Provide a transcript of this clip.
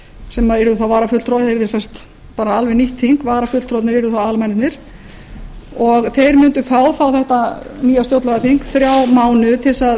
sem yrðu þá varafulltrúar yrði sem sagt alveg nýtt þing varafulltrúar yrðu þá aðalmennirnir og þeir mundu fá þá þetta nýja stjórnlagaþing þrjá mánuði til